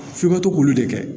F'i ka to k'olu de kɛ